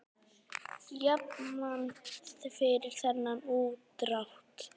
Jafnan fyrir þennan útdrátt er